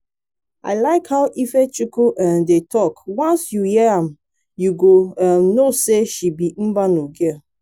i like how ifechukwu um dey talk once you hear am you go um know say she be mbano girl